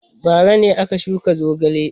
Bara ne aka shuka zogale.